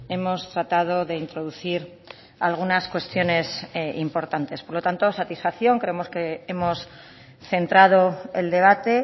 hemos tratado de introducir algunas cuestiones importantes por lo tanto satisfacción creemos que hemos centrado el debate